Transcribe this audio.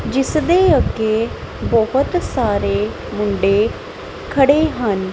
ਜਿਸ ਦੇ ਅੱਗੇ ਬਹੁਤ ਸਾਰੇ ਮੁੰਡੇ ਖੜੇ ਹਨ।